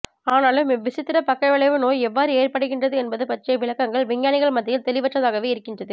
ஆனாலும் இவ்விசித்திர பக்கவிளைவு நோய் எவ்வாறு ஏற்படுகிறது என்பது பற்றிய விளக்கங்கள் விஞ்ஞானிகள் மத்தியில் தெளிவற்றதாகவே இருக்கின்றது